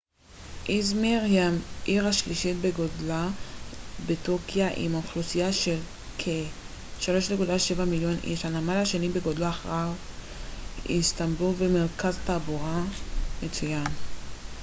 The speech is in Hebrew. איזמיר היא העיר השלישית בגודלה בטורקיה עם אוכלוסייה של כ-3.7 מיליון איש הנמל השני בגודלו אחרי איסטנבול ומרכז תעבורה מצוין